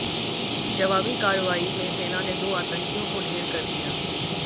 जवाबी कार्रवाई में सेना ने दो आतंकियों को ढेर कर दिया